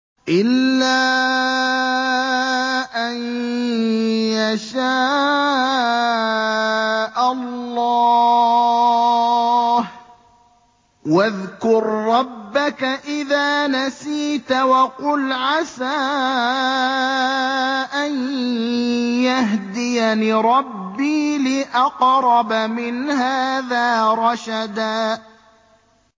إِلَّا أَن يَشَاءَ اللَّهُ ۚ وَاذْكُر رَّبَّكَ إِذَا نَسِيتَ وَقُلْ عَسَىٰ أَن يَهْدِيَنِ رَبِّي لِأَقْرَبَ مِنْ هَٰذَا رَشَدًا